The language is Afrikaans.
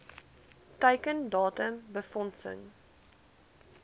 teiken datum befondsing